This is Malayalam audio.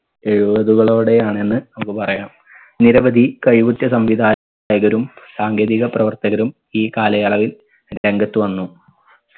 എഴുപതുകളോടെയാണ് എന്ന് നമ്മുക്ക് പറയാം നിരവധി കഴിവുറ്റ സംവിധായകരും സാങ്കേതിക പ്രവർത്തകരും ഈ കാലയളവിൽ രംഗത്ത് വന്നു.